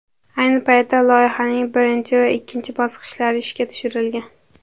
Ayni paytda loyihaning birinchi va ikkinchi bosqichlari ishga tushirilgan.